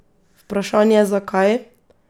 Vprašanje zakaj?